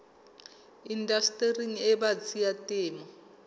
indastering e batsi ya temo